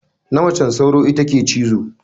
Na majen sauro ita ke cizo.